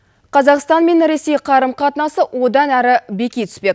қазақстан мен ресей қарым қатынасы одан әрі беки түспек